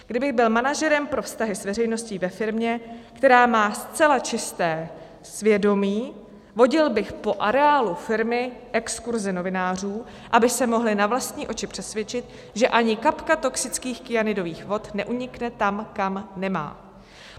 Kdybych byl manažerem pro vztahy s veřejností ve firmě, která má zcela čisté svědomí, vodil bych po areálu firmy exkurze novinářů, aby se mohli na vlastní oči přesvědčit, že ani kapka toxických kyanidových vod neunikne tam, kam nemá.